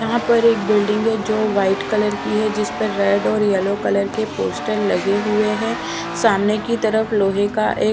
यहाँ पर एक बिल्डिंग है जो वाइट कलर की है जिस पे रेड और येलो कलर के पोस्टर लगे हुए है सामने की तरफ लोहे का एक --